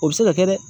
O bɛ se ka kɛ dɛ